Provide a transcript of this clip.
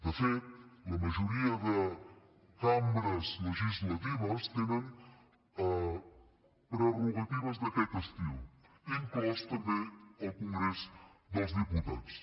de fet la majoria de cambres legislatives tenen prerrogatives d’aquest estil inclòs també el congrés dels diputats